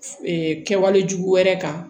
kɛwale jugu wɛrɛ kan